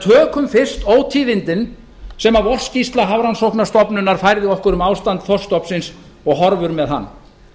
tökum fyrst ótíðindin sem vorskýrsla hafrannsóknastofnunar færði okkur um ástand þorskstofnsins og horfur með hann